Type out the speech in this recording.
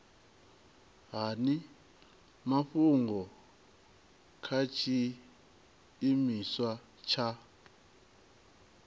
hani mafhungo kha tshiimiswa tsha